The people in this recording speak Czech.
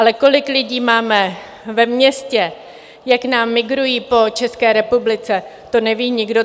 Ale kolik lidí máme ve městě, jak nám migrují po České republice, to neví nikdo.